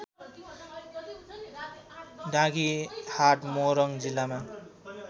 डाँगीहाट मोरङ जिल्लामा